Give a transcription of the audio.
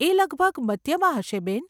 એ લગભગ મધ્યમાં હશે બેન.